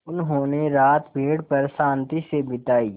उन्होंने रात पेड़ पर शान्ति से बिताई